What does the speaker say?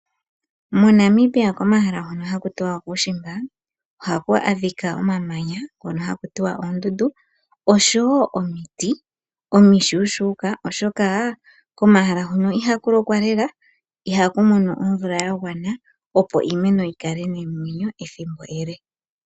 MoNamibia komahala hono hakutiwa okuushimba ohaku adhika omamanya ngono hakutiwa oondundu osho wo omiti omishuushuka oshoka komahala hono ihakulokwa lela, ihakumono omvula yagwana opo iimeno yikale nomwenyo ethimbo ele.